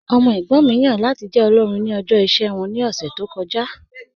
Ọmọ ẹ̀gbọ́n mi yan lati jẹ́ olórìn ni ọ̀jọ̀ iṣẹ wọn ni ọ̀ṣẹ̀ tó kọja